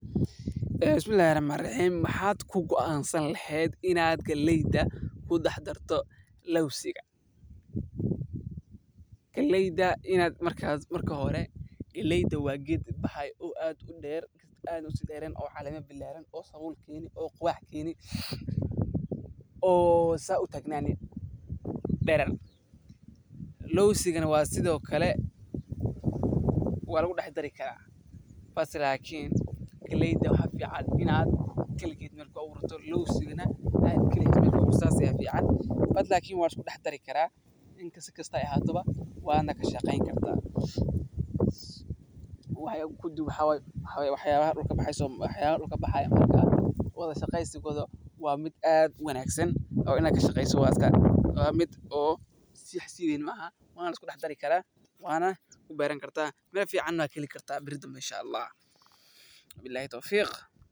Marka hore galeyda wa geed aad uder oo sawul keni oo saa utagnani lawsigana sido kale wa lugudexdari kari lakin galeyda in goni lohagajiyo aya fican marka galeyda wa wax aad ufican oo waxabaha wada shaqeygisigoda wa wax aad ufican oo oo ad faido kukeni karo.